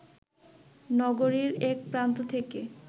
নগরীর এক প্রান্ত থেকে